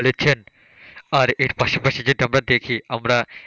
বলেছেন আর এর পাশাপাশি যেটা আমরা দেখি আমরা,